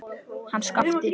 Hann Skapti!